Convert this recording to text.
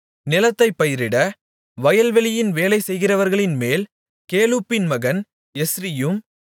நிலத்தைப் பயிரிட வயல்வெளியின் வேலை செய்கிறவர்களின்மேல் கேலூப்பின் மகன் எஸ்ரியும்